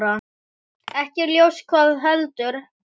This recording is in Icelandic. Ekki er ljóst hvað veldur.